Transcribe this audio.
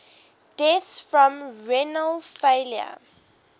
deaths from renal failure